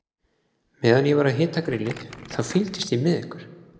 Meðan ég var að hita grillið, þá fylgdist ég með ykkur.